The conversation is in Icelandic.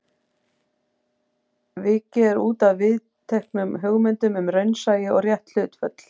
Vikið er útaf viðteknum hugmyndum um raunsæi og rétt hlutföll.